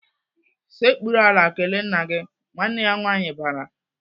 "Sekpuru ala kelee nna gị!" Nwanne ya nwaanyị bara.